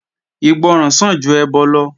Ìgbọràn sàn ju ẹbọ lọ